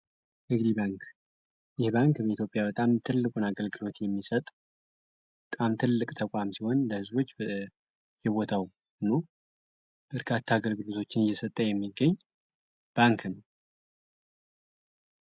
ንግድ ባንክ ይህ ባንክ በኢትዮጵያ በጣም ትልቁን አገልግሎት የሚሰጡ በጣም ትልቅ ተቋም ሲሆን ለሕዝቦች በ የቦታው ኑ እርካት አገልግዱዞችን እየሰጠ የሚገኝ ባንክ ነው።